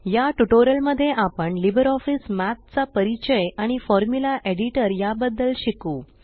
या ट्यूटोरियल मध्ये आपण लिबर ऑफीस मठ चा परिचय आणि फॉर्मुला एडिटर या बदद्ल शिकू